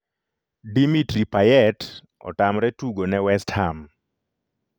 Dimitri Payet otamre tugo ne West Ham.